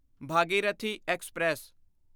Bhagirathi express